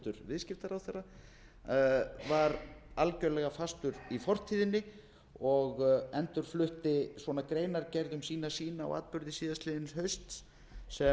viðskiptaráðherra var algerlega fastur í fortíðinni og endurflutti greinargerð um sína sýn á atburði síðastliðinn hausts sem